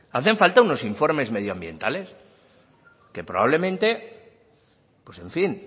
hacen falta unos informes medioambientales que probablemente pues en fin